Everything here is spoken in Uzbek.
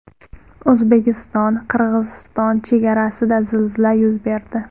O‘zbekistonQirg‘iziston chegarasida zilzila yuz berdi.